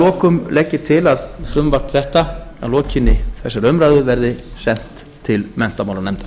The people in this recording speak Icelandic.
lokum legg ég til að frumvarp þetta að lokinni þessari umræðu verði sent til menntamálanefndar